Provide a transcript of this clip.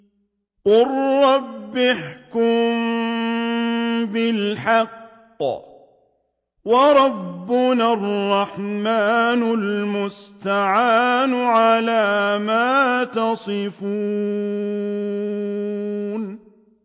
قَالَ رَبِّ احْكُم بِالْحَقِّ ۗ وَرَبُّنَا الرَّحْمَٰنُ الْمُسْتَعَانُ عَلَىٰ مَا تَصِفُونَ